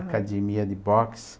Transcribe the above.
Academia de Boxe.